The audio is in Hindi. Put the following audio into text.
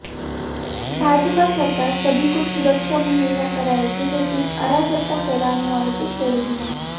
भाजपा सरकार सभी को सुरक्षा मुहैया कराएगी लेकिन अराजकता फैलाने वालों को छोड़ेगी नहीं